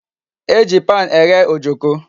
E ji pan eghe Ojoko